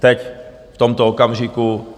Teď v tomto okamžiku.